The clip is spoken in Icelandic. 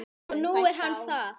Og nú er hann það.